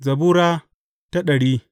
Zabura Sura dari